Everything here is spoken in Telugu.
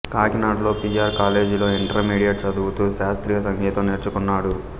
కాకినాడలో పి ఆర్ కాలేజీలో ఇంటర్మీడియట్ చదువుతూ శాస్త్రీయ సంగీతం నేర్చుకున్నాడు